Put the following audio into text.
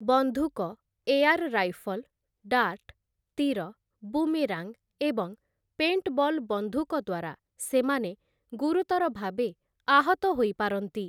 ବନ୍ଧୁକ, air rifle, dart, ତୀର, boomerang, ଏବଂ ପେଣ୍ଟବଲ୍ ବନ୍ଧୁକ ଦ୍ୱାରା ସେମାନେ ଗୁରୁତର ଭାବେ ଆହତ ହୋଇପାରନ୍ତି ।